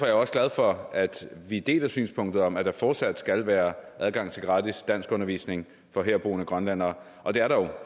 jeg også glad for at vi deler synspunktet om at der fortsat skal være adgang til gratis danskundervisning for herboende grønlændere og det er der jo